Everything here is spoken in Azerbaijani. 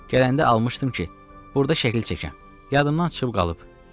Gələndə almışdım ki, burda şəkil çəkəm, yadımdan çıxıb qalıb.